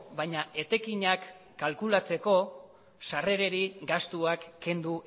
baina etekinak kalkulatzeko sarrerei gastuak kendu